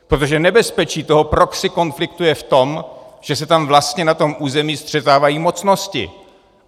Protože nebezpečí toho proxy konfliktu je v tom, že se tam vlastně na tom území střetávají mocnosti.